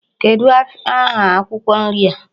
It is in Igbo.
Kedụ aha akwụkwọ nri a?